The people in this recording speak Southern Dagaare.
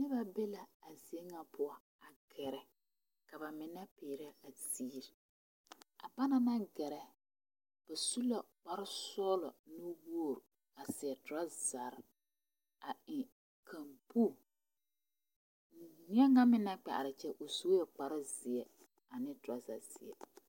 Noba be la a zie ŋa poɔ a gɛrɛ ka ba mine kpeɛrɛ a ziiri a bana naŋ gɛrɛ ba su la kpare sɔglɔ nuwogri a seɛ torazare a eŋ kamboo bie ŋa meŋ naŋ kpɛ are a kyɛ su kpare zeɛ ane toraza zeɛ.